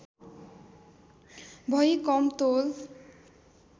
भई कम तौल